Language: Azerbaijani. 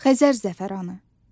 Xəzər zəfəranı.